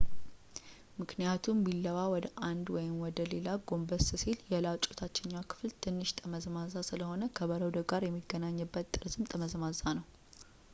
ምክንያቱም ቢላዋ ወደ አንድ ወይም ወደ ሌላ ጎንበስ ሲል ፣ የላጩ የታችኛው ክፍል ትንሽ ጠመዝማዛ ስለሆነ ፣ ከበረዶው ጋር የሚገናኝበት ጠርዝም ጠመዝማዛ ነው